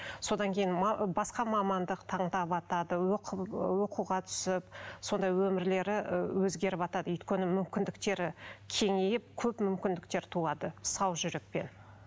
содан кейін басқа мамандық тандаватады оқуға түсіп сондай өмірлері өзгеріватады өйткені мүмкіндіктері кеңейіп көп мүмкіндіктер туады сау жүрекпен